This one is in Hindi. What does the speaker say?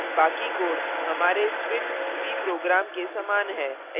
बाकी code हमारे switch c program के समान है